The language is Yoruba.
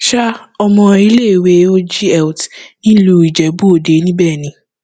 um ọmọ iléèwé og health nílùú ijebu òde níbẹ ni